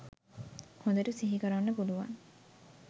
හොඳට සිහිකරන්න පුළුවන්